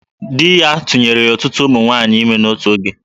Di ya tụnyere ọtụtụ ụmụ nwaanyị ime n'otu oge